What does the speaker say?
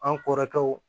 An kɔrɔkɛw